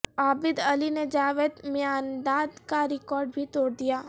عابد علی نے جاوید میانداد کا ریکارڈ بھی توڑ دیا